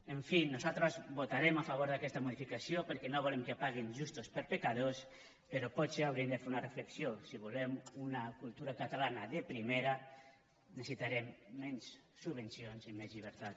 en fi nosaltres votarem a favor d’aquesta modificació perquè no volem que paguin justos per pecadors però potser hauríem de fer una reflexió si volem una cultura catalana de primera necessitarem menys subvencions i més llibertat